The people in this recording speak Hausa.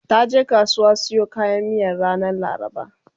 taje kasuwa siyo kayan miyan ranar laraba